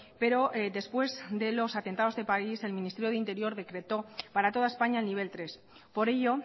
pero después de los atentados de parís el ministerio de interior decretó para toda españa el nivel tres por ello